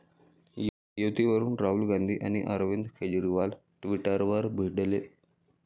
युतीवरून राहुल गांधी आणि अरविंद केजरीवाल ट्विटरवर भिडले